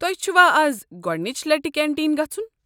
تۄہہِ چھُوا از گۄڑنِچہِ لٹہِ کنٹیٖن گژھُن؟